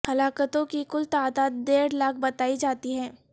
ہلاکتوں کی کل تعداد ڈیڑھ لاکھ بتائی جاتی ہے